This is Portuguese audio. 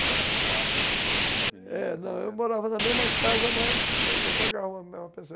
Era era um quarto com muita gente... É, eu morava na mesma casa, mas eu pagava a mesma pensão.